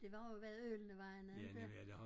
Det var jo hvad Ølenevejene inte